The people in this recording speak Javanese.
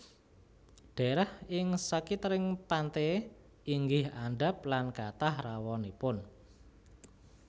Dhaerah ing sakitering pante inggih andhap lan kathah rawanipun